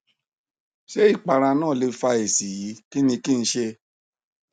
ṣé ìpara náà lè fa èsì yìí kí ni kí n ṣe